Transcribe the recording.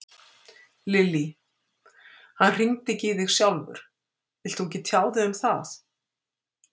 Lillý: Hann hringdi ekki í þig sjálfur, vilt þú ekki tjá þig um það?